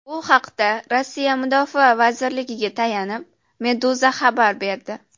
Bu haqda Rossiya Mudofaa vazirligiga tayanib, Meduza xabar berdi .